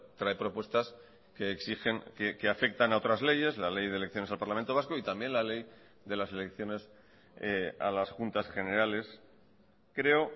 trae propuestas que exigen que afectan a otras leyes la ley de elecciones al parlamento vasco y también la ley de las elecciones a las juntas generales creo